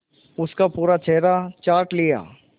उसका पूरा चेहरा चाट लिया